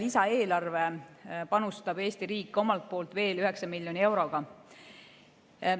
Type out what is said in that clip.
Lisaeelarve kaudu panustab Eesti riik veel 9 miljoni euroga.